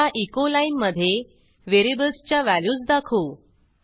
ह्या एचो लाईनमधे व्हेरिएबल्सच्या व्हॅल्यूज दाखवू